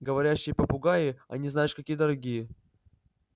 говорящие попугаи они знаешь какие дорогие